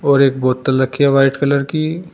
और एक बोतल रखी है व्हाइट कलर की।